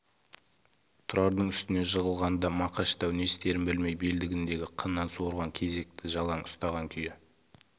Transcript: тұрардың үстіне жығылғанда мақаш дәу не істерін білмей белдігіндегі қыннан суырған кездікті жалаң ұстаған күйі